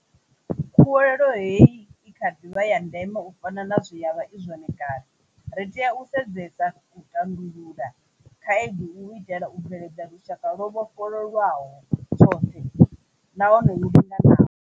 Khuwelelo hei ikha ḓivha ya ndeme u fana na zwe yavha I zwone kale. Ri tea u sedzesa u tandulula khaedu u itela u bveledza lushaka lwo vhofholowaho tshoṱhe nahone lu linganaho.